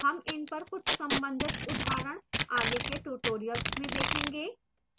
हम इन पर कुछ संबंधित उदाहरण आगे के tutorials में देखेंगे